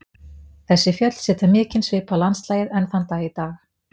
Þessi fjöll setja mikinn svip á landslagið enn þann dag í dag.